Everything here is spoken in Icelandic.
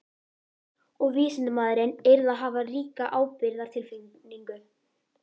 Og vísindamaðurinn yrði að hafa ríka ábyrgðartilfinningu.